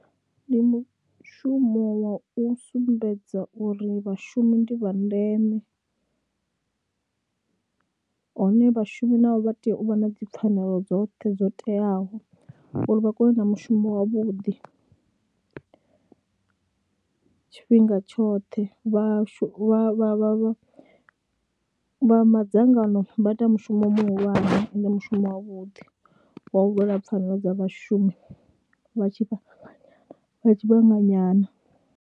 Ndi mushumo wa u sumbedza uri vhashumi ndi vha ndeme hone vhashumi navho vha tea u vha na dzipfhanelo dzoṱhe dzo teaho uri vha kone u ita mushumo wavhuḓi tshifhinga tshoṱhe vha shu vha vha vha vha vha madzangano vha ita mushumo muhulwane ende mushumo wavhuḓi wa u lwela pfhanelo dza vhashumi vha tshi tshi vhanga nyana.